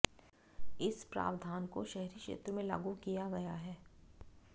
इस प्रावधान को शहरी क्षेत्र में लागू किया गया है